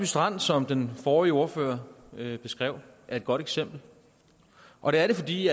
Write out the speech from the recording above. strand som den forrige ordfører beskrev er et godt eksempel og det er det fordi